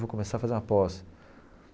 Vou começar a fazer uma pós.